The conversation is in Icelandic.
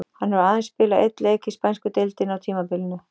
Hann hefur aðeins spilað einn leik í spænsku deildinni á tímabilinu.